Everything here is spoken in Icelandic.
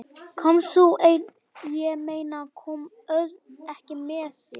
Komst þú einn, ég meina, kom Örn ekki með þér?